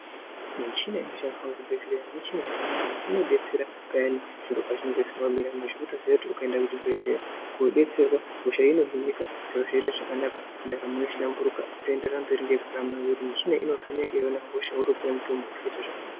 Michina inoshandiswa kuzvibhedhleya michina yakanaka nekuti inodetsera payani zviro pazvinenge zvisina kumira mushe. Votiziya kuti ukaenda kuchibhedhleya kodetserwa hosha inohinika zviro zvite zvakanaka ndaramo yotohlamburiruka. Votoenderera mberi nekurarama nekuti michina iyi novheneka yeiona hosha votopuva mutombo zvoita zvakanaka.